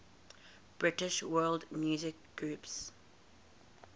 british world music groups